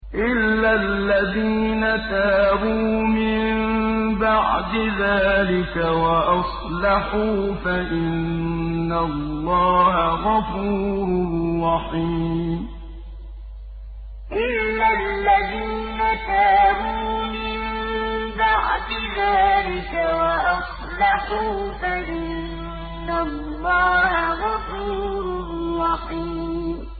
إِلَّا الَّذِينَ تَابُوا مِن بَعْدِ ذَٰلِكَ وَأَصْلَحُوا فَإِنَّ اللَّهَ غَفُورٌ رَّحِيمٌ إِلَّا الَّذِينَ تَابُوا مِن بَعْدِ ذَٰلِكَ وَأَصْلَحُوا فَإِنَّ اللَّهَ غَفُورٌ رَّحِيمٌ